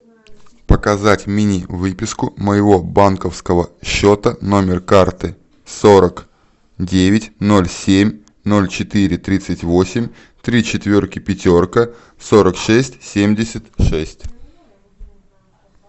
показать мини выписку моего банковского счета номер карты сорок девять ноль семь ноль четыре тридцать восемь три четверки пятерка сорок шесть семьдесят шесть